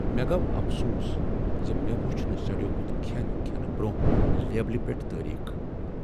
مےٚ گوٚو افسوس زِ مےٚ وٕچھ نہٕ سڑیومت کھین کھینہٕ برۄنہہ لیبلہ پیٹھ تاریخ۔